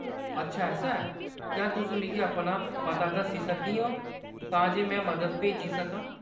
अच्छा, ऐसा ऐ ; क्या तुस मिगी अपना पता दस्सी सकदियां ओ तां जे में मदद भेजी सकां ?